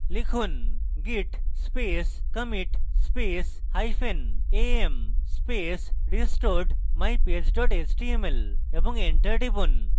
লিখুন: git space commit space hyphen am space restored mypage html এবং enter টিপুন